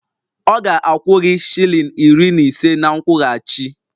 Ọ ga-akwụ gị shilling iri na ise na nkwụghachi